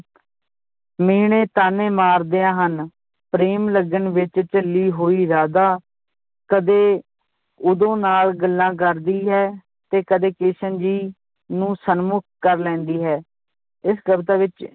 ਮਿਹਣੇ ਤਾਅਨੇ ਮਾਰਦੀਆਂ ਹਨ ਪ੍ਰੇਮ ਲਗਨ ਵਿਚ ਝੱਲੀ ਹੋਈ ਰਾਧਾ ਕਦੇ ਉਦੋ ਨਾਲ ਗੱਲਾਂ ਕਰਦੀ ਹੈ ਤੇ ਕਦੇ ਕ੍ਰਿਸ਼ਨ ਜੀ ਨੂੰ ਸਨਮੁਖ ਕਰ ਲੈਂਦੀ ਹੈ, ਇਸ ਕਵਿਤਾ ਵਿਚ